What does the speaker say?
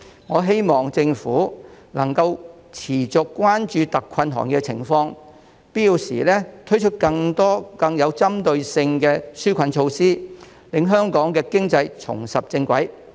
我希望政府能持續關注特困行業的情況，並於必要時推出更多更具針對性的紓困措施，讓香港經濟重拾正軌。